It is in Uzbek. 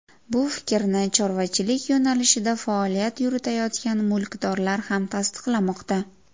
Bu fikrni chorvachilik yo‘nalishida faoliyat yuritayotgan mulkdorlar ham tasdiqlamoqda.